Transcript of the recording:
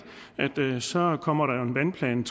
at så kommer der en vandplan